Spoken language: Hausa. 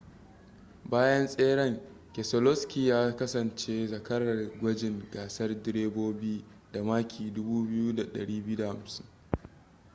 bayan tseren keselowski ya kasance zakarar gwajin gasar direbobi da maki 2,250